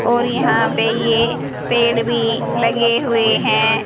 और यहां पे ये पेड़ भी लगे हुए हैं।